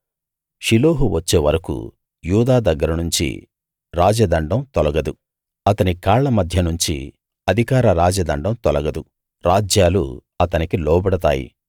షిలోహు వచ్చే వరకూ యూదా దగ్గరనుంచి రాజదండం తొలగదు అతని కాళ్ళ మధ్య నుంచి అధికార రాజదండం తొలగదు రాజ్యాలు అతనికి లోబడతాయి